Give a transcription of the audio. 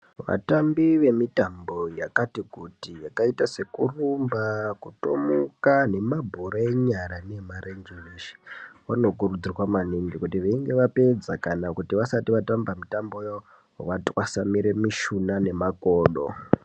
Vatambi vemitambo yakati kuti yakaita sekutomuka sekurumba nabhora enyara neemarenje eshe vanokurudzirwa maningi kuti veinga vapedza kana vasati vatamba mitambo yavo vatwasanure mishuna nemakodo .